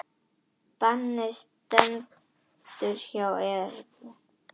Bannið stendur hjá Evra